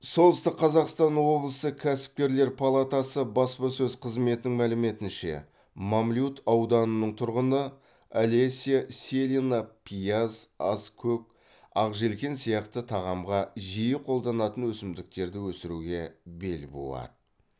солтүстік қазақстан облысы кәсіпкерлер палатасы баспасөз қызметінің мәліметінше мамлют ауданының тұрғыны олеся селина пияз аскөк ақжелкен сияқты тағамға жиі қолданатын өсімдіктерді өсіруге бел буады